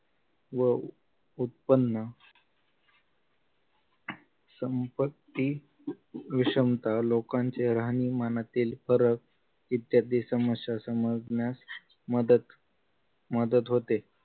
व उत्पन्न संपत्ती विषमता लोकांच्या राहणीमानातील फरक इत्यादी समस्या समजण्यास मदत मदत होते